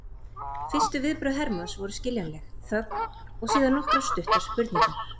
Fyrstu viðbrögð Hermanns voru skiljanleg, þögn og síðan nokkrar stuttar spurningar.